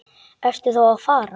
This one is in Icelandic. Ertu þá að fara?